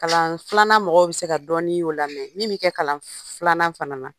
Kalan filanan mɔgɔw bɛ se ka dɔɔnin y'o la min bɛ kɛ kalan filanan fana na.